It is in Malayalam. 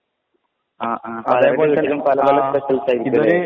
ആ ആ അതെ പോലെ തന്നെ പല പല സ്പെഷ്യൽസ് ആയിരിക്കും ല്ലെ